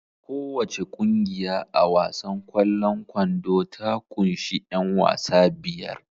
Kowace ƙungiya a wasan kwallon kwando ta kunshi 'yan wasa biyar